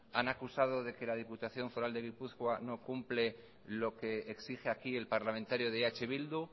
han acusado de que la diputación foral de gipuzkoa no cumple lo que exige aquí el parlamentario de eh bildu